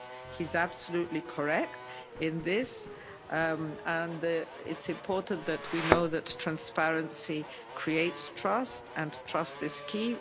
He's absolutely correct in this, and it's important that we know that transparency creates trust and trust is key.